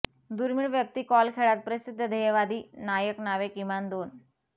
दुर्मिळ व्यक्ती कॉल खेळात प्रसिद्ध ध्येयवादी नायक नावे किमान दोन